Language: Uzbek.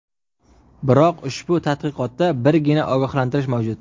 Biroq ushbu tadqiqotda birgina ogohlantirish mavjud.